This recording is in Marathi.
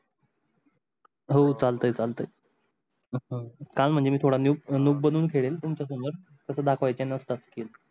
हो चालते चालते सांग म्हणजे मी थोड look बदलून खेळेन तुमच्या सोमोर तस दाखवायचे नसतात